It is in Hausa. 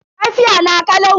Lafiya na kalau.